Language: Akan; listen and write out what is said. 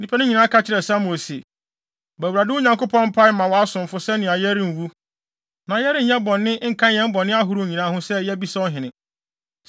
Nnipa no nyinaa ka kyerɛɛ Samuel se, “Bɔ Awurade, wo Nyankopɔn, mpae ma wʼasomfo sɛnea yɛrenwu, na yɛrenyɛ bɔne nka yɛn bɔne ahorow nyinaa ho sɛ yɛabisa ɔhene.”